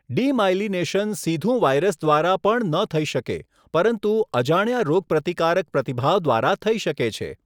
Demyelination સીધું virus દ્વારા પણ ન થઈ શકે, પરંતુ અજાણ્યા રોગપ્રતિકારક પ્રતિભાવ દ્વારા થઈ શકે છે.